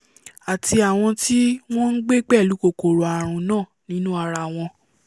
àti àwọn tí wọ́n ngbé pẹ̀lú kòkòrò àrùn náà nínú ara wọn